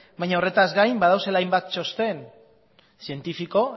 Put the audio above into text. baina horretaz gain badaudela hainbat txosten zientifiko